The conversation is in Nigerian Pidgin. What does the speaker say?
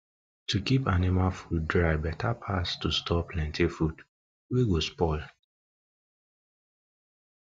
to keep anima food dry beta pass to store plenty food wey go spoil